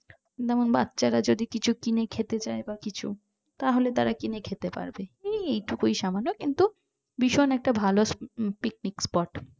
বাচ্চারা যদি কিছু কিনে খেতে চাই বা কিছু তাহলে তারা কিনে খেতে পারবে এই এইটুকু সামান্য হ্যাঁ কিন্তু ভীষণ একটা ভালো picnic spot